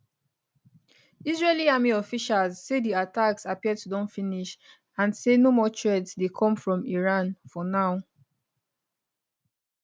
israeli army officials say di attacks appear to don finish and say no more threat dey come from iran for now